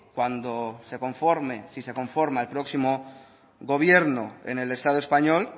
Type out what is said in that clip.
cuando se conforme si se conforma el próximo gobierno en el estado español